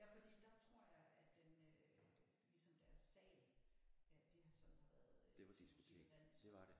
Ja fordi der tror jeg at den øh ligesom deres sag at det har sådan har været diskotek og dans